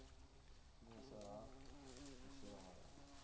khwiniswa ha u shela mulenzhe